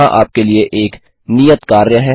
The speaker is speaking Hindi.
यहां आपके लिए एक नियत कार्य है